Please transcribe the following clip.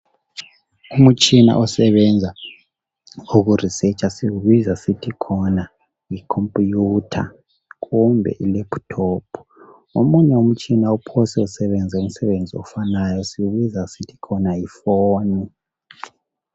Umtshina osebenza uku 'researcher' siwuubizwa sithi khona yikhophiyutha kumbe lephuthophu. Omunye umtshina ophese usebenze umsebenzi ofanayo suwubiza sithi khona yifoni